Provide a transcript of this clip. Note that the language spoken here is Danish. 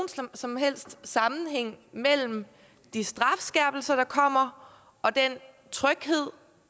som helst sammenhæng mellem de strafskærpelser der kommer og den tryghed